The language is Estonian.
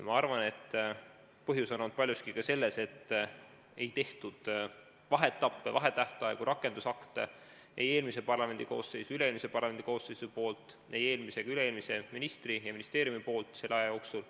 Ma arvan, et põhjus on olnud paljuski ka selles, et ei tehtud vaheetappe, ei olnud vahetähtaegu ega rakendusakte ei eelmise parlamendikooseisu ega üle-eelmise parlamendikoosseisu poolt, ei eelmise ega üle-eelmise ministri ja ministeeriumi poolt selle aja jooksul.